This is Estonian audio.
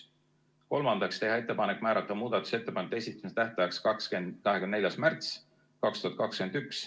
Kolmandaks, teha ettepanek määrata muudatusettepanekute esitamise tähtajaks 24. märts 2021.